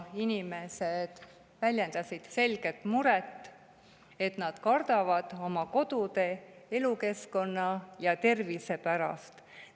Inimesed väljendasid selget muret, et nad kardavad oma kodu, elukeskkonna ja tervise pärast.